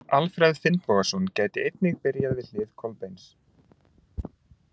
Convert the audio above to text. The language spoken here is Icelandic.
Alfreð Finnbogason gæti einnig byrjað við hlið Kolbeins.